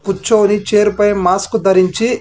కూర్చొని చైర్ పై మాస్క్ ధరించి.